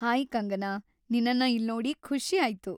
Hi Kangana, ನಿನ್ನನ್ನ ಇಲ್ನೋಡಿ ಖುಷಿ ಆಯ್ತು.